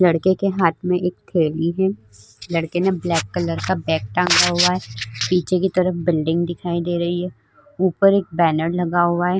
लड़के के हाथ में एक थैली है लड़के ने ब्लैक कलर का बैग टांगा हुआ है पीछे की तरफ बिल्डिंग दिखाई दे रही है ऊपर एक बैनर लगा हुआ है।